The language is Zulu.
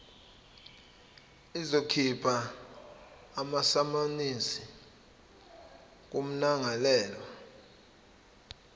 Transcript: izokhipha amasamanisi kummangalelwa